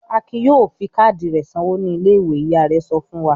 "Akin yóò di káádì rẹ̀ sanwó ní ilé-ìwé!" Ìyá rẹ̀ sọ fún wa.